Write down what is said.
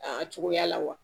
A cogoya la wa